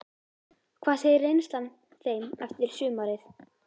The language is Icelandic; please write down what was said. Hvað segir reynslan þeim eftir sumarið?